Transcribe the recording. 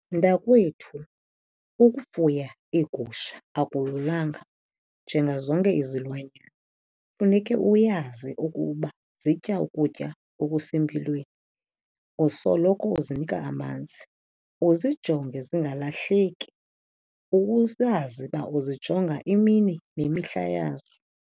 Mntakwethu, ukufuya iigusha akululanga njengazonke izilwanyana. Funeke uyazi ukuba zitya ukutya okusempilweni, usoloko uzinika amanzi. Uzijonge zingalahleki, uyazi uba uzijonga imini nemihla yazo.